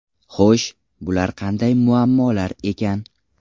Xo‘sh, bular qanday muammolar ekan?